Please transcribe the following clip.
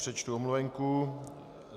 Přečtu omluvenku.